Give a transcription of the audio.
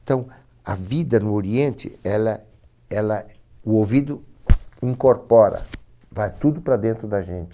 Então, a vida no Oriente, ela, ela, o ouvido incorpora, vai tudo para dentro da gente.